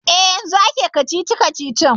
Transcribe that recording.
E, yanzun ake kacici-kacicin.